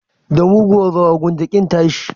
Da muguwar rawa, gwamma kin tashi.